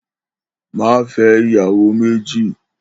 Má fè̩ é̩ ìyàwó méjì!